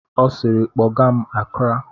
Ọ siiri, kpọgaa m Akra!